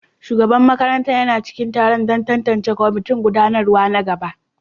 Shugaban makarantar yana cikin taro don tantance kwamitin gudanarwa na gaba